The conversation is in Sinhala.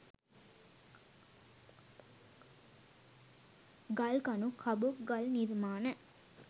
ගල් කණු කබොක් ගල් නිර්මාණ